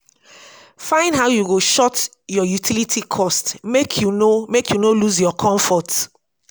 find how yu go short yur utility cost mek yu no mek yu no lose yur comfort